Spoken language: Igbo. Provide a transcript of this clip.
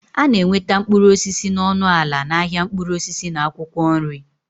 A na-enweta mkpụrụ osisi na ọnụ ala n'ahịa mkpụrụ osisi na akwụkwọ nri